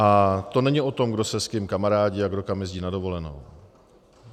A to není o tom, kdo se s kým kamarádí a kdo tam jezdí na dovolenou.